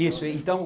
Isso, então